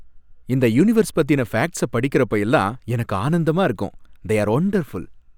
இந்த யூனிவர்ஸ் பத்தின ஃபேக்ட்ஸ படிக்கறப்ப எல்லாம் எனக்கு ஆனந்தமா இருக்கும். They are wonderful!